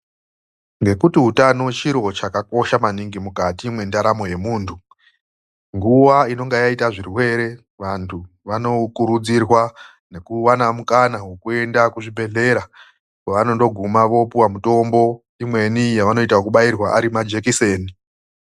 Ngekuti utano chiro chakakosha maningi mukati mwendaramo yemunhu ,ngemukuwo unenge wagume denda vanosisirwa kuende kuchibhehlera kwevanozopuwa mitombo yakaparadzana inosanganisire kubairwa majekiseni.